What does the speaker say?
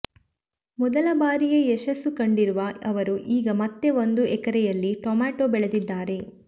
ಮೊದಲ ಬಾರಿಯೇ ಯಶಸ್ಸು ಕಂಡಿರುವ ಅವರು ಈಗ ಮತ್ತೆ ಒಂದು ಎಕರೆಯಲ್ಲಿ ಟೊಮೆಟೊ ಬೆಳೆದಿದ್ದಾರೆ